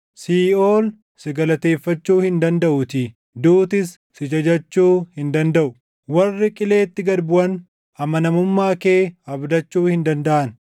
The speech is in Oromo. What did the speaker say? Siiʼool si galateeffachuu hin dandaʼutii; duutis si jajachuu hin dandaʼu. Warri qileetti gad buʼan, amanamummaa kee abdachuu hin dandaʼan.